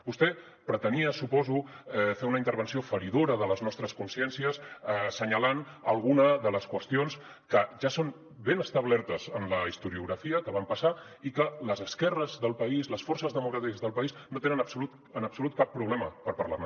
vostè pretenia suposo fer una intervenció feridora de les nostres consciències assenyalant alguna de les qüestions que ja són ben establertes en la historiografia que van passar i que les esquerres del país les forces democràtiques del país no tenen en absolut cap problema per parlar ne